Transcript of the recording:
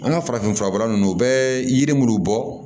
An ka farafin furabɔla ninnu u bɛ yiri minnu bɔ